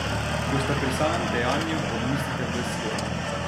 Ko sta pri samem dejanju, odmislite ves svet.